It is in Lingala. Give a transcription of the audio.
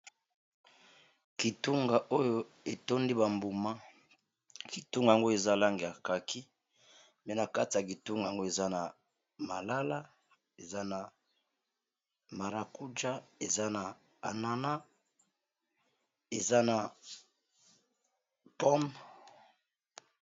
kitunga oyo etondi bambuma kitunga yango eza lang ya kaki pe na kati ya kitunga yango eza na malala eza na marakuja eza na anana eza na pome